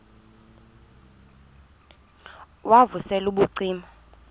wav usel ubucima